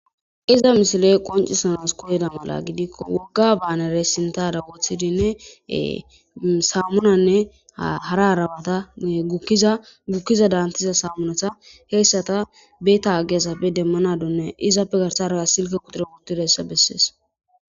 iza misile qoncisanas koyeda mala gidikko wogga baanere sintada woothidinne saammunanne hara arabata zagukkiza daantiza saamunata heessata beeta agge asafe demmanadonne izappe garsaraa silke kuture wutidayssa bessees